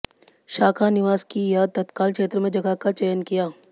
शाखा निवास की या तत्काल क्षेत्र में जगह का चयन किया